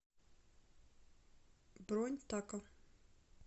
бронь тако